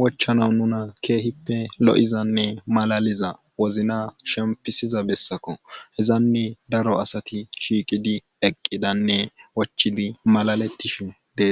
wochanaw nuna kehippe lo7izanne malaalia wozina shemppisiza bessakoo hezanne daro asati shiiqidi eqqidannme wochidi malalettishe det.